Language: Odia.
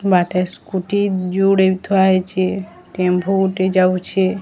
ବାଟେ ସ୍କୁଟି ଯୁଡ଼େ ଥୁଆ ହେଇଚେ ଟେମ୍ଫୁ ଗୋଟେ ଯାଉଚେ।